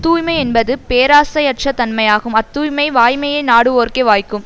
தூய்மை என்பது பேராசையற்ற தன்மையாகும் அத்தூய்மை வாய்மையை நாடுவோர்க்கே வாய்க்கும்